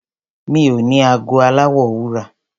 Mi ò ní ago aláwọ̀ wúrà.